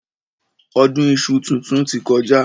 Ọdún iṣu titun ti kọjá.